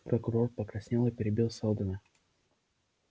прокурор покраснел и перебил сэлдона